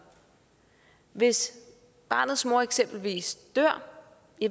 hvis barnets mor eksempelvis dør